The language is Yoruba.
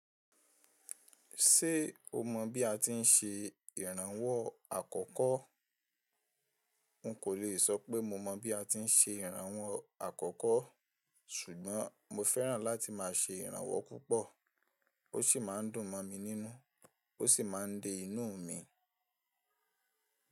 Ṣé o mọ bí a ti ń ṣe ìrànwọ́ àkọ́kọ́? N kò le sọ pé mo mọ bí a ti ń ṣe ìrànwọ́ àkọ́kọ́, ṣùgbọ́n mo fẹ́ràn láti máa ṣe ìrànwọ́ púpọ̀. Ó sì máa ń dùn mọ̀ mi nínú, ó sì máa ń de inú mi.